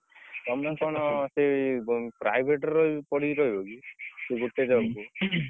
ତମେ କଣ ସେଇ private ରହି ପଡିକି ରହିବକି ସେଇ ଗୋଟେ job ରେ?